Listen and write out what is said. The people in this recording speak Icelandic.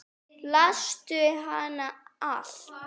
Lastu hana alla?